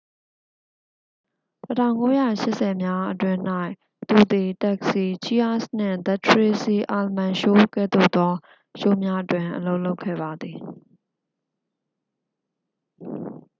1980s အတွင်း၌ သူသည် taxi cheers နှင့် the tracy ullman show ကဲ့သို့သော ရှိုးများတွင် အလုပ်လုပ်ခဲ့ပါသည်